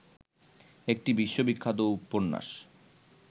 একটি বিশ্ববিখ্যাত উপন্যাস